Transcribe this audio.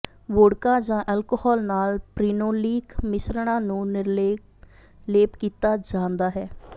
vodka ਜਾਂ alcohol ਨਾਲ ਪ੍ਰਿਨੋਲੀਕ ਮਿਸ਼ਰਣਾਂ ਨੂੰ ਨਿਰਲੇਪ ਕੀਤਾ ਜਾਂਦਾ ਹੈ